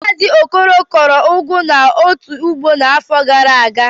Mazi okoro kụọ ugu n'otu ugbo n'afọ gara aga?